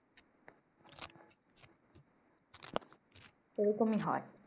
এই রকমি হয়।